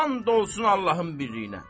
And olsun Allahın birliyinə.